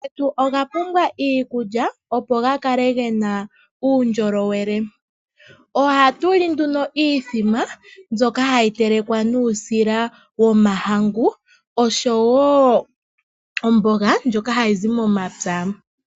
Omalutu getu oga pumbwa iikulya opo ga kale gena uundjolowele. Ohatu li nduno iimbombo mbyoka hayi telekwa nuusila womahangu oshowo omboga ndjoka hayi zi momapya.